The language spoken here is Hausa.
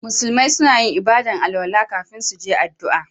Musulmi suna yin ibada'n alwala kafin su je addu'a.